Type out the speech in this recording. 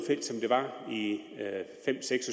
seks